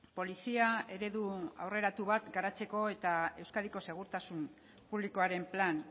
polizia eredu aurreratu bat garatzeko eta euskadiko segurtasun publikoaren plan